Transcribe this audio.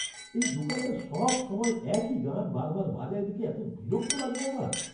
এই দোকানটা সবসময় একই গান বার বার বাজায় দেখে এতো বিরক্ত লাগে না আমার!